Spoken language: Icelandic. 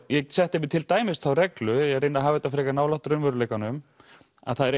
ég setti mér til dæmis þá reglu ég reyni að hafa þetta frekar nálægt raunveruleikanum að það eru